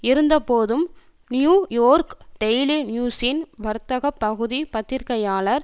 இருந்தபோதும் New York daily நியூஸின் வர்த்தக பகுதி பத்திரிகையாளர்